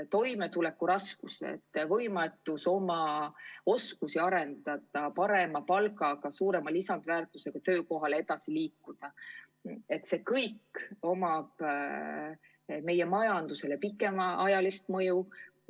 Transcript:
Toimetulekuraskused, võimetus oma oskusi arendada, parema palgaga, suuremat lisandväärtust tootvale töökohale edasi liikuda – sel kõigel on meie majandusele pikaajaline mõju.